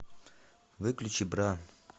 выключи бра